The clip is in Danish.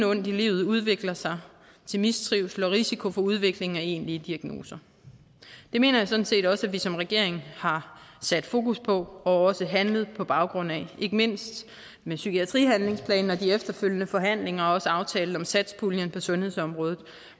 ondt i livet udvikler sig til mistrivsel og risiko for udvikling af egentlige diagnoser det mener jeg sådan set også at vi som regering har sat fokus på og handlet på baggrund af ikke mindst med psykiatrihandlingsplanen og de efterfølgende forhandlinger og også aftalen om satspuljen på sundhedsområdet